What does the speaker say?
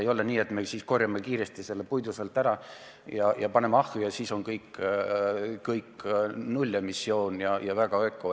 Ei ole nii, et me koristame kiiresti selle puidu sealt ära ja paneme ahju ja siis on nullemissioon ja väga öko.